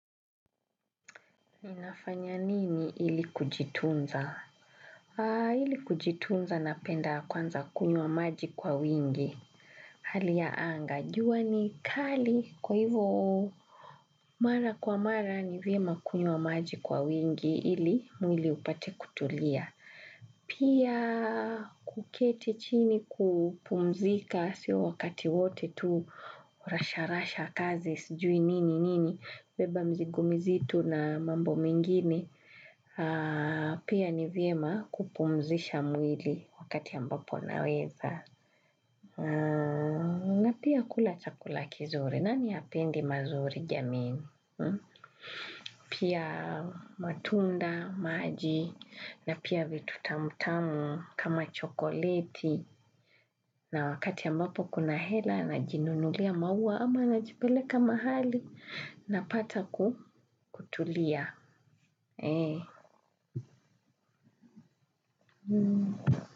Ninafanya nini ili kujitunza? Ili kujitunza napenda kwanza kunywa maji kwa wingi. Hali ya anga, jua ni kali kwa hivyo. Mara kwa mara ni vyema kunywa maji kwa wingi ili mwili upate kutulia. Pia kuketi chini kupumzika siyo wakati wote tu rasha rasha kazi sijui nini nini. Beba mzigo mzito na mambo mengine. Pia ni vyema kupumzisha mwili wakati ambapo unaweza. Na pia kula chakula kizuri. Nani hapendi mazuri jamini? Pia matunda, maji na pia vitu tamtamu kama chokoleti. Na wakati ambapo kuna hela anajinunulia maua ama anajipeleka mahali unapata kutulia.